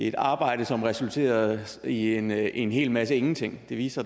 et arbejde som resulterede i en en hel masse ingenting det viste